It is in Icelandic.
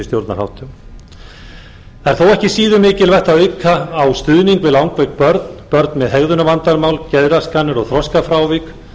stjórnarháttum það er þó ekki síður mikilvægt að auka á stuðning við langveik börn börn með hegðunarvandamál geðraskanir og þroskafrávik